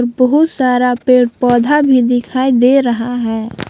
बहुत सारा पेड़ पौधे भी दिखाई दे रहा है।